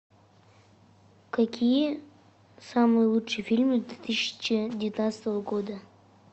какие самые лучшие фильмы две тысячи девятнадцатого года